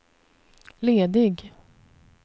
ledig